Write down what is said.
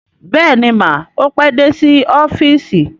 Bẹ́ẹ̀ni mà, ó pé dé sí ọ́fíìsì